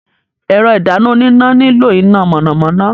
Ẹ̀rọ ìdáná oníná nílò iná mọ̀nàmọ́ná.